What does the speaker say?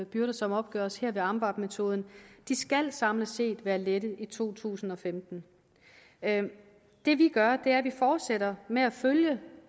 byrder som opgøres her ved amvab metoden samlet set være lettet i to tusind og femten det vi gør er at vi fortsætter med at følge